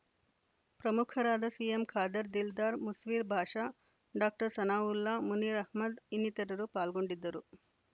ಪ್ರಮುಖರಾದ CM Khader Dildar Musveer Basha doctor Sanaulla Munir Ahmed ಇನ್ನಿತರರು ಪಾಲ್ಗೊಂಡಿದ್ದರು